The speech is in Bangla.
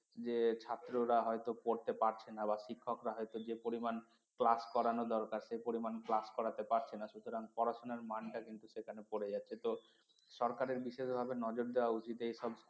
যে ছাত্ররা হয়তো পড়তে পারছে না বা শিক্ষকরা হয়তো যে পরিমাণ class করানো দরকার সে পরিমান class করাতে পারছে না সুতরাং পড়াশোনার মানটা কিন্তু সেখানে পড়ে যাচ্ছে তো সরকারের বিশেষ ভাবে নজর দেওয়া উচিত এইসব